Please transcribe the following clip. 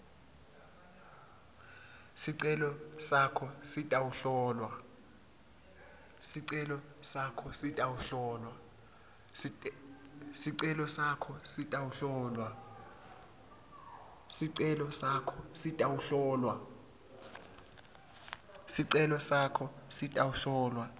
sicelo sakho sitawuhlolwa